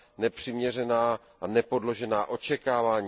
nepřiměřená a nepodložená očekávání.